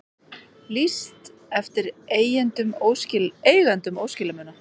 Lýst eftir eigendum óskilamuna